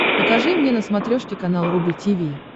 покажи мне на смотрешке канал рубль ти ви